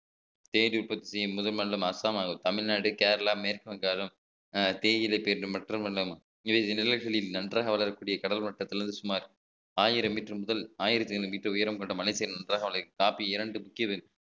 தேயிலை விற்பதியில் முதலிடம் அசாம் ஆகும் தமிழ்நாடு கேரளா மேற்கு வங்காளம் தேயிலை இவை நிழல்களில் நன்றாக வளரக்கூடிய கடல் மட்டத்திலிருந்து சுமார் ஆயிரம் metre முதல் ஆயிரத்து ஐநூறு metre உயரம் கொண்ட மலைக்கு காப்பி இரண்டு முக்கிய